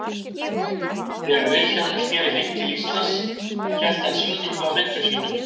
Þegar Vilhjálmur sneri heim til Íslands hélt hann sýningu á myndum sínum.